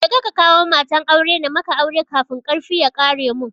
Kaje ka kawo matan aure na maka aure kafin karfi ya ƙare mun